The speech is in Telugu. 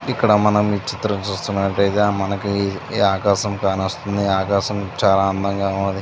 ఇక్కడ మనం ఈ చిత్రం చూస్తునట్టయితే మనకి ఆకాశం కానస్తుంది. ఆకాశం చాలా అందంగా ఉన్నది.